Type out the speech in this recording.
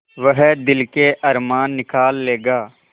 वह दिल के अरमान निकाल लेगा